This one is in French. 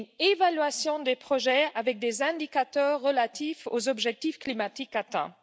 l'évaluation des projets avec des indicateurs relatifs aux objectifs climatiques atteints.